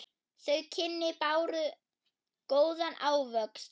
Þau kynni báru góðan ávöxt.